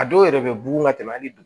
A dɔw yɛrɛ bɛ bugun ka tɛmɛ hali